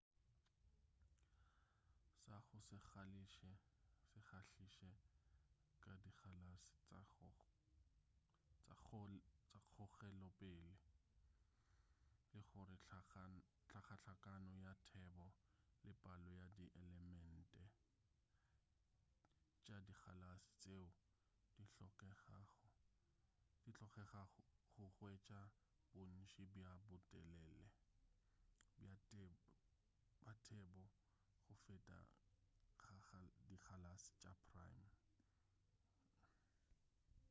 sa go se kgahliše ka dikgalase tša kgogelopele ke gore hlakahlakano ya thebo le palo ya dielement tša dikgalase tšeo di hlokegago go hwetša bontši bja botelele bja thebo go feta ga dikgalase tša prime